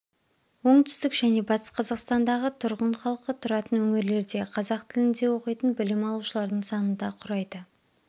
оңтүстік және батыс қазақстандағы тұрғын халқы тұратын өңірлерде қазақ тілінде оқитын білім алушылардың саны ды құрайды